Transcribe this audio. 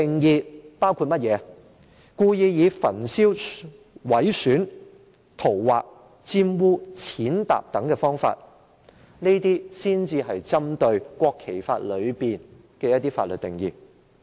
是故意以焚燒、毀損、塗劃、玷污、踐踏等方式所作的侮辱行為，這些才是針對《國旗及國徽條例》的法律定義。